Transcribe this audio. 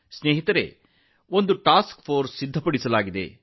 ಸ್ನೇಹಿತರೇ ಒಂದು ಕಾರ್ಯಪಡೆ ರಚಿಸಲಾಗಿದೆ